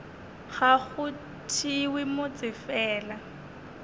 ga go thewe motse fela